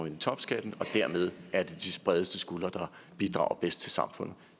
ind i topskatten og dermed er det de bredeste skuldre der bidrager bedst til samfundet